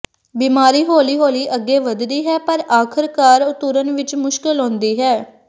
ਬਿਮਾਰੀ ਹੌਲੀ ਹੌਲੀ ਅੱਗੇ ਵੱਧਦੀ ਹੈ ਪਰ ਆਖਰਕਾਰ ਤੁਰਨ ਵਿੱਚ ਮੁਸ਼ਕਲ ਆਉਂਦੀ ਹੈ